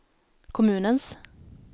kommunens